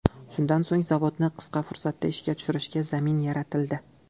Shundan so‘ng zavodni qisqa fursatda ishga tushirishga zamin yaratildi.